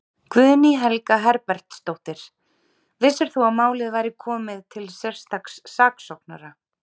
Guðný Helga Herbertsdóttir: Vissir þú að málið væri komið til sérstaks saksóknara?